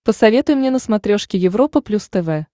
посоветуй мне на смотрешке европа плюс тв